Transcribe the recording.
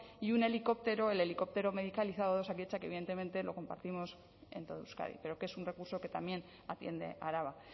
y un helicóptero el helicóptero medicalizado de osakidetza que evidentemente lo compartimos en todo euskadi pero que es un recurso que también atiende araba